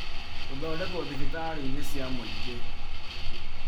Gũthondekwo thibitarĩ inĩ cia mũingĩ